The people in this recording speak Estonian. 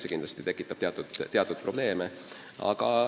See tekitab teatud probleeme.